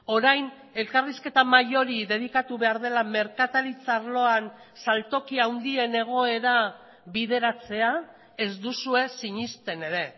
orain elkarrizketa mahai hori dedikatu behar dela merkataritza arloan saltoki handien egoera bideratzea ez duzue sinesten ere